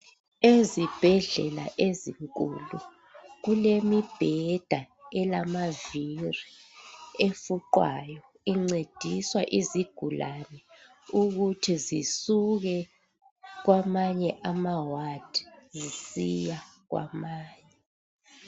Ezibhedlela ezinkulu kulemibheda elamavili efuqwayo, incedisa izigulane ukuthi zisuke kwamanye amawadi zisiya kwamanye.